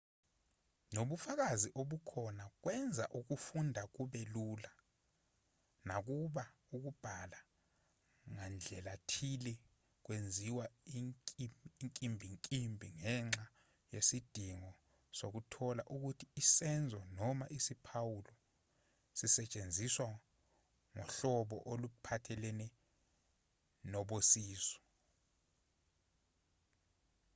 ngokobufakazi obukhona kwenza ukufunda kube lula nakuba ukubhala ngandlelathile kwenziwa inkimbinkimbi ngenxa yesidingo sokuthola ukuthi isenzo noma isiphawulo sisetshenziswa ngohlobo oluphathelene nosobizo